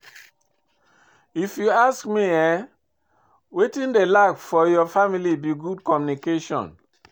If you ask me eh, wetin dey lack for your family be good communication